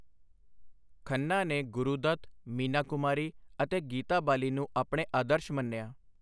ਖੰਨਾ ਨੇ ਗੁਰੂ ਦੱਤ, ਮੀਨਾ ਕੁਮਾਰੀ ਅਤੇ ਗੀਤਾ ਬਾਲੀ ਨੂੰ ਆਪਣੇ ਆਦਰਸ਼ ਮੰਨਿਆ।